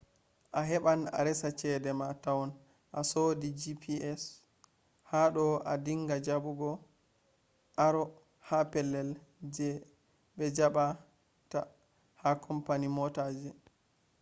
a heban a resa cede mah tou a sodi gps hadou a dinga jabugo aro ha pellei bejaba tah ha company motaji